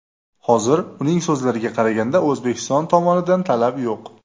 Hozir, uning so‘zlariga qaraganda, O‘zbekiston tomonidan talab yo‘q.